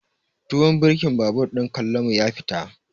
Tuwon birkin babur ɗin Kallamu ya fita.